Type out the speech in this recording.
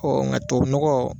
ŋa tuwawu nɔgɔ